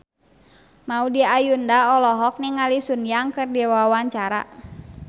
Maudy Ayunda olohok ningali Sun Yang keur diwawancara